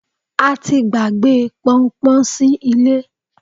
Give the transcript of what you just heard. a ti gbàgbé pọnpọn sí ilé